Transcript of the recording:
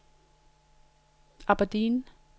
Aberdeen